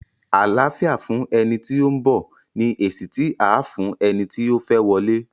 Àláfíà fún ẹni tí ó ń bọ̀! ni èsì tí à á fún eni ti ó fẹ́ wọlé.